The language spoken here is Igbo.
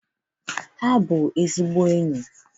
Ha na-eme enyi ọfụma.